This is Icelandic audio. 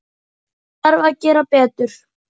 Hér þarf að gera betur.